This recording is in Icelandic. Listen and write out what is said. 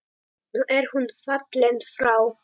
Nú er hún fallin frá.